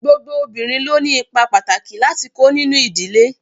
Gbogbo obìnrin ló ni ipa pàtàkì láti kó nínú ìdílé.